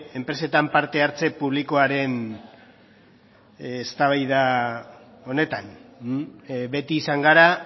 enpresetan parte hartze publikoaren eztabaida honetan beti izan gara